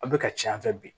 Aw bɛ ka can fɛ bi